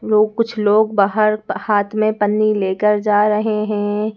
लोग कुछ लोग बाहर हाथ मे पन्नी लेकर जा रहे हैं।